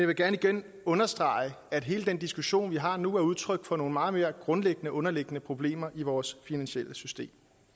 vil gerne igen understrege at hele den diskussion vi har nu er udtryk for nogle meget mere grundlæggende underliggende problemer i vores finansielle system